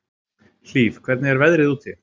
Hlíf, hvernig er veðrið úti?